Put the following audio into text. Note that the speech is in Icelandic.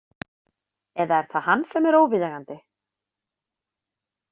Eða er það hann sem er óviðeigandi?